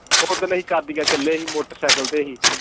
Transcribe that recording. ਉਹ ਦਿਨ ਅਸੀਂ ਕੈਦੀਆਂ ਚਲੇ ਸੀ motorcycle ਤੇ ਅਸੀਂ